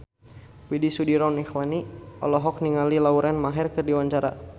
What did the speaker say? Widy Soediro Nichlany olohok ningali Lauren Maher keur diwawancara